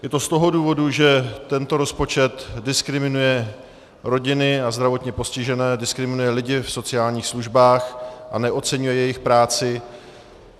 Je to z toho důvodu, že tento rozpočet diskriminuje rodiny a zdravotně postižené, diskriminuje lidi v sociálních službách a neoceňuje jejich práci.